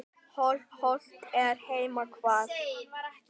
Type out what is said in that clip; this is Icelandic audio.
Hollt er heima hvað.